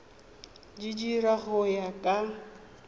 di dira go ya ka